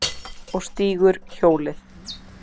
Og stígur hjólið.